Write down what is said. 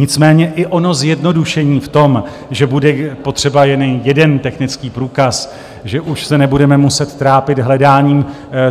Nicméně i ono zjednodušení v tom, že bude potřeba jen jeden technický průkaz, že už se nebudeme muset trápit hledáním